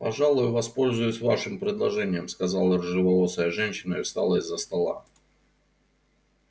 пожалуй воспользуюсь вашим предложением сказала рыжеволосая женщина и встала из-за стола